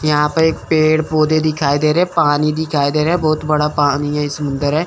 यहां पे एक पेड़ पौधे दिखाई दे रे पानी दिखाई दे रहे बहोत बड़ा पानी है सुंदर है।